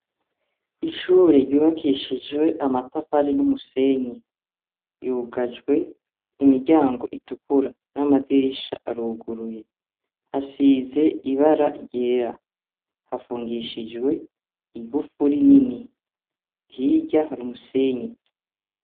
Ishure ryubakishijwe amatafari n'umusenyi ryugajwe imiryango itukura n'amadirisha aruguruye hasize ibara ryera hafungishijwe igufuri nini hirya hari umusenyi.